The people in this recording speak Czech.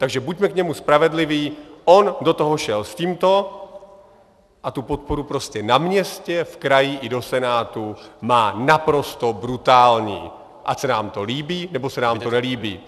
Takže buďme k němu spravedliví, on do toho šel s tímto a tu podporu prostě na městě, v kraji i do Senátu má naprosto brutální, ať se nám to líbí, nebo se nám to nelíbí.